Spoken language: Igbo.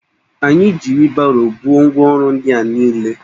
Anyi ji wịlbaro buo ngwa orụ ndi a niile